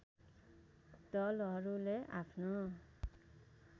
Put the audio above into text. दलहरूले आफ्नो